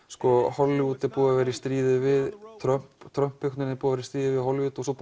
Hollywood er búið að vera í stríði við Trump og Trump í stríði við Hollywood og svo